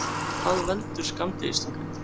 Hvað veldur skammdegisþunglyndi?